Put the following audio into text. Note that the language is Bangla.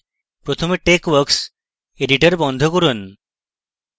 প্রথমে texworks editor বন্ধ করুন